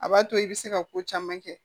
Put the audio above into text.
A b'a to i bɛ se ka ko caman kɛ